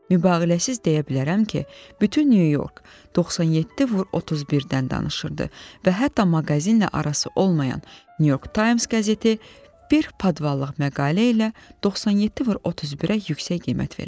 Mübaliğəsiz deyə bilərəm ki, bütün New York 97x31-dən danışırdı və hətta maqazinlə arası olmayan New York Times qəzeti bir padvallıq məqalə ilə 97x31-ə yüksək qiymət vermişdi.